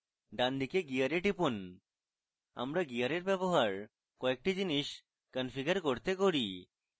ডানদিকে gear টিপুন আমরা gear ব্যবহার কয়েকটি জিনিস configure করতে